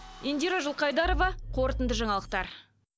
индира жылқайдарова қорытынды жаңалықтар